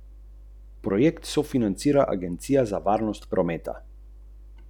Zakon bo morda sprejet jeseni.